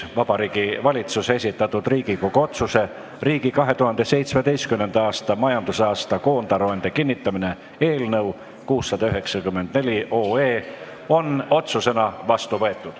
Vabariigi Valitsuse esitatud Riigikogu otsuse "Riigi 2017. aasta majandusaasta koondaruande kinnitamine" eelnõu 694 on otsusena vastu võetud.